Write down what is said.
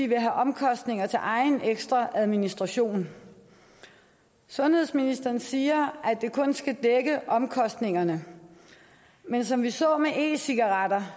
vil have omkostninger til egen ekstra administration sundhedsministeren siger at det kun skal dække omkostningerne men som vi så med e cigaretter